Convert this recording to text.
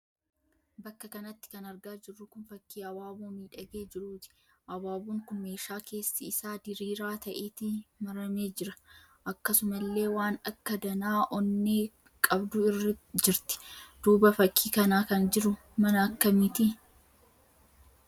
Bakka kanatti kan argaa jirru kun fakkii abaaboo miidhagee jiruuti. Abaaboon kun meeshaa keessi isaa diriiraa ta'eti maramee jira. Akkasumallee waan akka danaa onnee qabdu jirti. Duuba fakkii kanaa kan jiru mana akkamiiti?